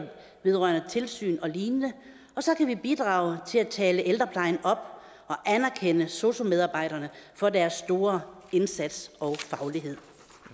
vedrørende tilsyn og lignende og så kan vi bidrage til at tale ældreplejen op og anerkende sosu medarbejderne for deres store indsats og faglighed